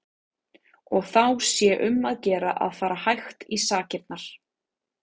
Og þá sé um að gera að fara hægt í sakirnar.